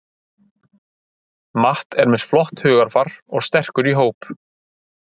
Matt er með flott hugarfar og sterkur í hóp.